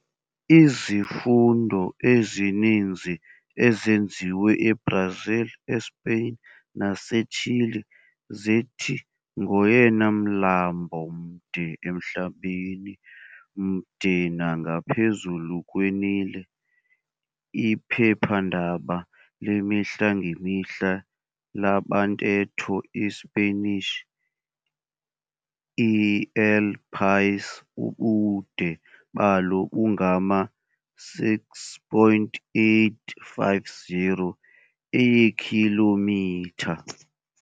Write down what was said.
Izifundo ezininzi ezenziwe eBrazil, eSpain naseChile zithi ngoyena mlambo mde emhlabeni, Mde nangaphezulu kweNile. Iphephandaba lemihlangemihla labantetho isiSpanish El País ubude balo bungama 6.850 eekhilomitha.